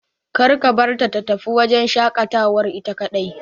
Kar ka barta ta tafi wajen shaƙatawar ita kaɗai.